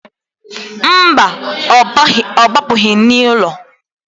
Mba, ọ gbapụgị n'ụlọ.